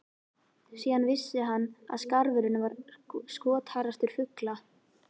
Síðan vissi hann að skarfurinn var skotharðastur fugla.